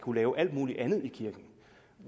kunne lave alt muligt andet i kirken